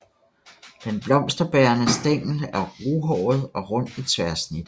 Den blomsterbærende stængel er ruhåret og rund i tværsnit